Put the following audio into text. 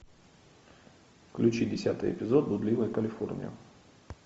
включи десятый эпизод блудливая калифорния